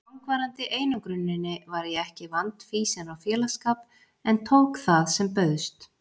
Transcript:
langvarandi einangruninni var ég ekki vandfýsin á félagsskap en tók það sem bauðst.